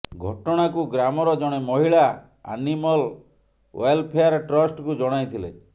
ଘଟଣାକୁ ଗ୍ରାମର ଜଣେ ମହିଳା ଆନିମଲ୍ ଓ୍ୱାଲେଫେୟାର ଟ୍ରଷ୍ଟକୁ ଜଣାଇଥିଲେ